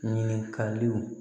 Ɲininkaliw